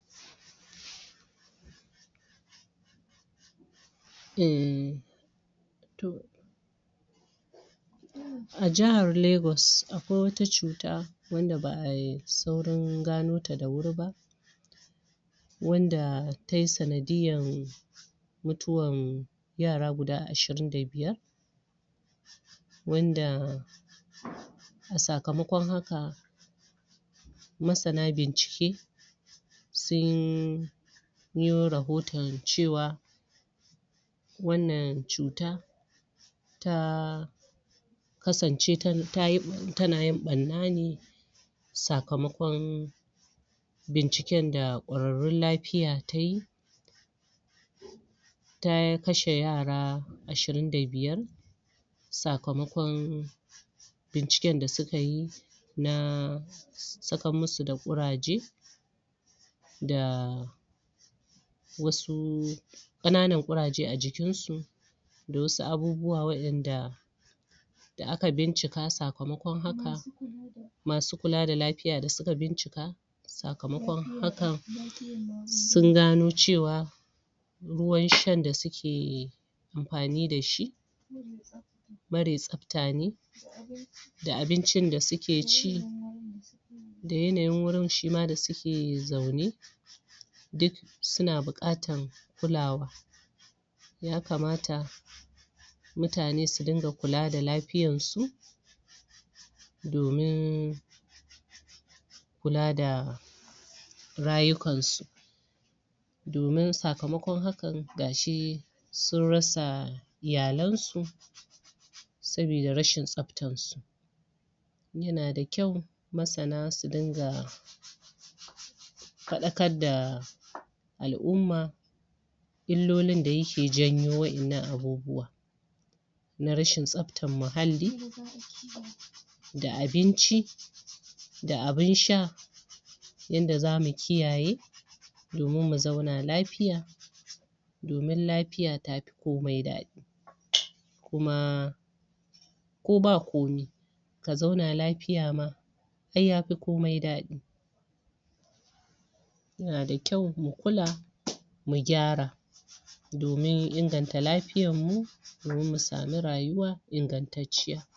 E A jihar Legas akwai wata cuta wadda ba ai saurin gano ta da wuri ba, wanda ta yi sanadiyyar mutuwar yara duda ashirin da biyar. wanda a sakamakon haka, masana bincike sun yo rohoton cewa wannan cuta ta kasance tana yin ɓarna ne sakamakon binciken da ƙwararrun lafiya ta yi ta kashe yara ashirin da biyar sakamakon binciken da suka yi na sakar musu da ƙuraje da wasu ƙananan ƙuraje a jikinsu, da wasu abubuwa waɗanda da aka bincika sakamakon haka masu kula da lafiya da suka bincika sakamakon hakan sun gano cewa ruwanshan da suke amfani da shi marar tsafta ne. da abincin da suke cia da yanyin wurin shi ma da suke zaune duk suna buƙatar kulawa ya kamata mtane su dinga kula da lafiyansu domin z kula da rayukansu domin sakamakon hakan ga shi sun rasa iyalansu saboda rashin tsaftarsu. Yana da kyau masana su dinga faɗakar da al'umma illolin da yake janyo waɗannan abubuwa. na rashin tsaftar muhalli da abinci da abin sha yanda za mu kiyaye domin mu zauna lafiya domin lafiya ta fi komai daɗi. kuma ko ba komai ka zauna lafiya ma ai yafi komai daɗi yana da kyau mu kula mu gyara domin inganta lafiyarmu domin mu samu rayuwa ingantacciya.